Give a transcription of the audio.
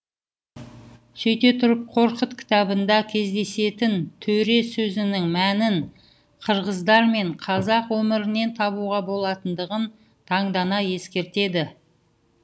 сөйте тұрып қорқыт кітабында кездесетін төре сөзінің мәнін қырғыздар мен қазақ өмірінен табуға болатындығын таңдана ескертеді